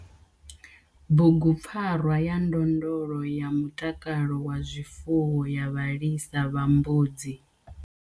Bugupfarwa yo ndondolo ya mutakalo wa zwifuwo ya vhalisa vha mbudzi.